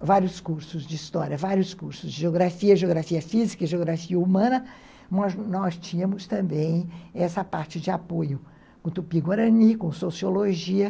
vários cursos de história, vários cursos de geografia, geografia física e geografia humana, mas nós tínhamos também essa parte de apoio com Tupi-guarani, com sociologia.